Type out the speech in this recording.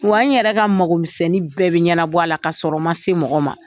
Wa n yɛrɛ ka mɔgɔmisɛnni bɛɛ bi ɲɛnabɔ a la, ka sɔrɔ n ma se mɔgɔ ma.